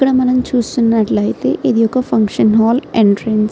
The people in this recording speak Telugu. ఇక్కడ మనం చూస్తున్నట్లైతే ఇది ఒక ఫంక్షన్ హాల్ ఎంట్రన్స్ .